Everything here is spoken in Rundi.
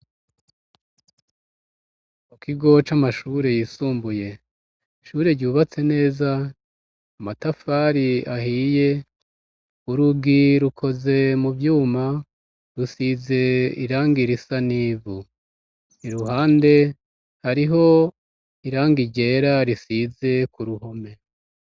Mukigo c'amashure yisumbuye ,ishure ryubatse neza ,amatafari ahiye ,urugi rukoze mu vyuma ,rusize irangi irisa n'ivu, iruhande hariho irangi ryera risize k'uruhome.